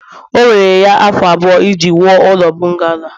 o were ya afọ abụọ iji wuo ụlọ bungalo a